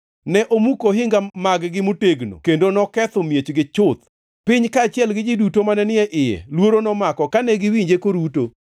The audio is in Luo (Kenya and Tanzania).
Ne omuko ohinga mag-gi motegno kendo noketho miechgi chuth. Piny kaachiel gi ji duto mane ni e iye luoro nomako kane giwinje koruto.